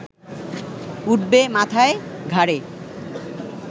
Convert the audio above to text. উঠবে মাথায়, ঘাড়ে